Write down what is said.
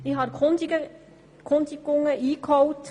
Ich habe Erkundigungen eingeholt.